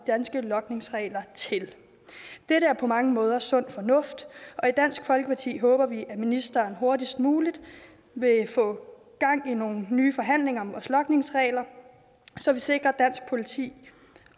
danske logningsregler til det er på mange måder sund fornuft og i dansk folkeparti håber vi at ministeren hurtigst muligt vil få gang i nogle nye forhandlinger om vores logningsregler så vi sikrer dansk politi